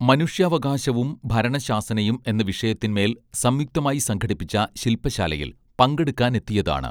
മനുഷ്യാവകാശവും ഭരണശാസനയും എന്ന വിഷയത്തിന്മേൽ സംയുക്തമായി സംഘടിപ്പിച്ച ശിൽപശാലയിൽ പങ്കെടുക്കാനെത്തിയതാണ്